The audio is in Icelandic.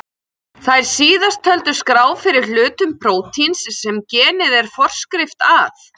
Þær síðast töldu skrá fyrir hlutum prótíns sem genið er forskrift að.